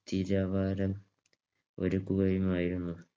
തിരവാരം ഒരുക്കുകയുമായിരുന്നു.